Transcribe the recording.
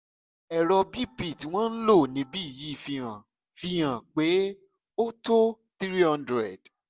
ẹrọ bp tí wọ́n ń lò níbí yìí fi hàn fi hàn pé ó tó three hundred